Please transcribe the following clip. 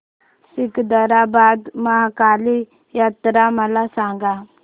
सिकंदराबाद महाकाली जत्रा मला सांगा